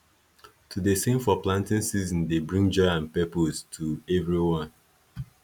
to dey sing for planting season dey bring joy and purpose to everyone